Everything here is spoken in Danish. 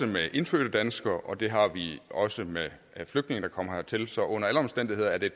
med indfødte danskere og det har vi også med flygtninge der kommer hertil så under alle omstændigheder er det